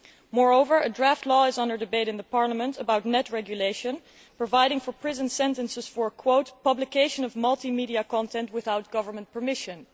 Moreover, a draft law is under debate in the parliament about net regulation, providing for prison sentences for publication of multimedia content without government permission'.